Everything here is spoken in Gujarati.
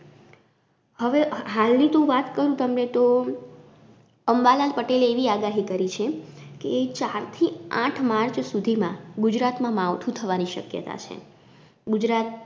હવે હ હાલની તો હું વાત કરું તમને તો અંબાલાલ પટેલે એવી આગાહી કરી છે કે ચાર થી આઠ march સુધીમાં ગુજરાતમાં માવઠું થવાની શક્યતા છે. ગુજરાત